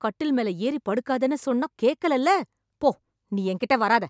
கட்டில் மேல ஏறி படுக்காதன்னு சொன்னா கேக்கலல்ல... போ, நீ என்கிட்ட வராத.